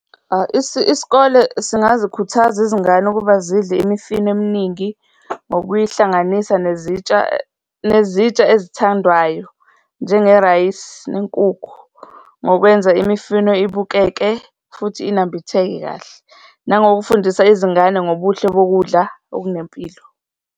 Isikole singazikhuthaza izingane ukuba zidle imifino eminingi, ngokuyihlanganisa nezitsha, nezitsha ezithandwayo, njengerayisi nenkukhu, ngokwenza imifino ibukeke futhi inambitheke kahle nangokufundisa izingane ngobuhle bokudla okunempilo.